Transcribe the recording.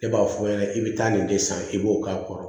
Ne b'a f'u ɲɛna i bi taa nin de san i b'o k'a kɔrɔ